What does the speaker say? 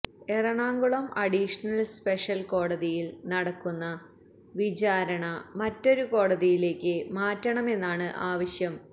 Ernakulam additional special കോടതിയിൽ നടക്കുന്ന വിചാരണ മറ്റൊരു കോടതിയിലേക്ക് മാറ്റണമെന്നാണ് ആവശ്യം